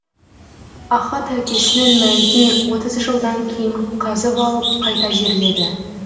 ахат әкесінің мәйітін отыз жылдан кейін қазып алып қайта жерледі